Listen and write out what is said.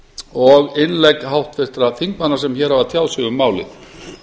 og innlegg háttvirtra þingmanna sem hér hafa tjáð sig um málið